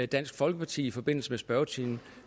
dansk folkeparti i forbindelse med spørgetimen